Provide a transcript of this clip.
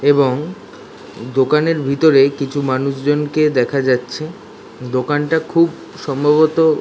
এবং দোকানের ভিতর কিছু মানুষজনকে দেখা যাচ্ছে দোকানটা খুব সম্ভবত--